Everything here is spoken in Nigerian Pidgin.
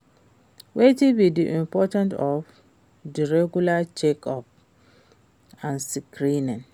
Wetin be di importance of di regular check-ups and screenings?